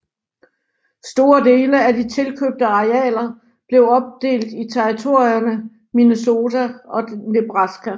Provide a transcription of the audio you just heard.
Store dele af de tilkøbte arealer blev opdelt i territorierne Minnesota og Nebraska